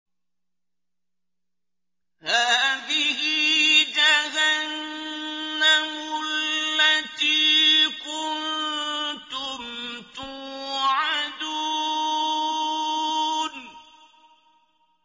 هَٰذِهِ جَهَنَّمُ الَّتِي كُنتُمْ تُوعَدُونَ